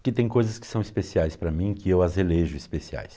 Porque tem coisas que são especiais para mim, que eu as elejo especiais.